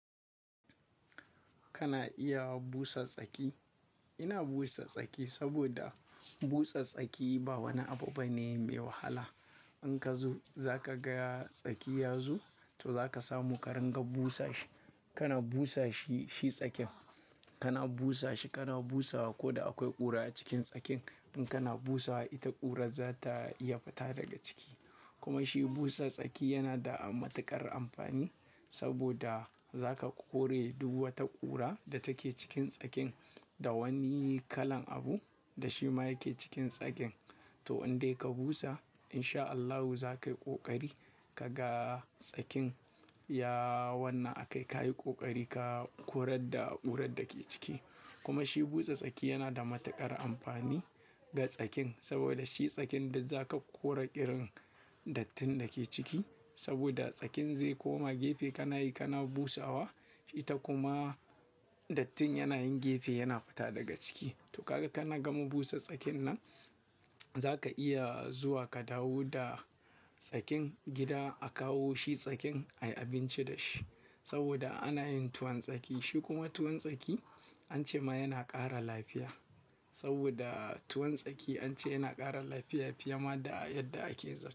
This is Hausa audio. Kana iya busa tsaki. Ina busa tsaki saboda busa tsaki ba wani abu bane mai wahala. In ka zo za ka ga tsaki ya zo, to za ka samu ƙarin ga busa shi. Kana busa shi, shi tsakin kana busa shi kana busawa. Ko da akwai ƙura a cikin tsakin in kana busawa ita ƙurar za ta iya fita daga ciki. Kuma shi busa tsaki yana da matuƙar amfani saboda za ka kore duk wata ƙura da take cikin tsakin da wani kalan abu da shi ma yake cikin tsakin. To in dai ka busa in sha Allahu za ka yi ƙoƙari ka ga tsakin ya wannan akai. Ka yi ƙoƙari ka kore da ƙurar da ke ciki. Kuma shi busa tsaki yana da matuƙar amfani ga tsakin saboda shi tsakin da za ka kore ƙirin dattin da ke ciki saboda tsakin zai koma gefe kana yi kana busawa ita kuma dattin yana yin gefe yana fita daga ciki. To kaga kana gama busa tsakin nan za ka iya zuwa ka dawo da tsakin gida a kawo shi tsakin a yi abinci da shi saboda ana yin tuwon tsaki. Shi kuma tuwon tsaki an ce ma yana ƙara lafiya saboda tuwon tsaki an ce yana ƙara lafiya fiye ma da yadda ake zuba.